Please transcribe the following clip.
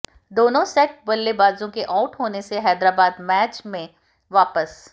दोनों सेट बल्लेबाजों के आउट होने से हैदराबाद मैच में वापस